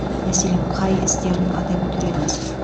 мәселен қай істерін атап өтер едіңіз